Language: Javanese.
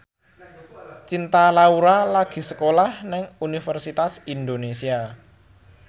Cinta Laura lagi sekolah nang Universitas Indonesia